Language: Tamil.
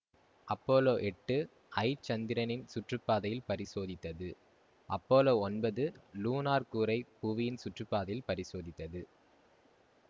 அப்பல்லோ எட்டு ஐ சந்திரனின் சுற்றுப்பாதையில் பரிசோதித்தது அப்பல்லோ ஒன்பது லூனார் கூறை புவியின் சுற்றுப்பாதையில் பரிசோதித்தது